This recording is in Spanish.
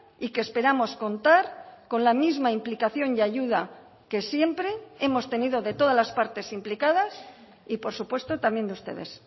y que esperamos contar con la misma implicación y ayuda que siempre hemos tenido de todas las partes implicadas y por supuesto también de ustedes